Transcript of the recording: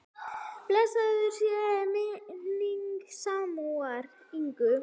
Blessuð sé minning Símonar Inga.